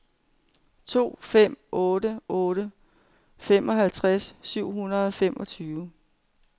to fem otte otte femoghalvtreds syv hundrede og femogtyve